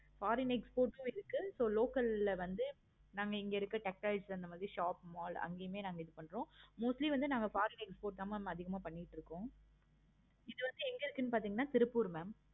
foriegn exports ஹம் இருக்கு. so local ல வந்து நாங்க இங்க இருக்குற shop, mall அந்த மாதிரி அங்கையும் நாங்க இது பன்றோம். mostly வந்து நாங்க foreign export தான் mam அதிகமா பண்ணிட்டு இருக்கோம். okay mam இது வந்து எங்க இருக்கு பாத்தீங்கன்னா திருப்பூர் mam